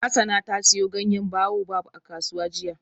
Hassana ta siyo ganyen baobab a kasuwa jiya.